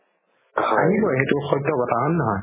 আহিবৈ সেইটো সত্য কথা হয় নে নহয়